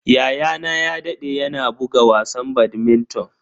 Yayana ya dade yana buga wasan badminton.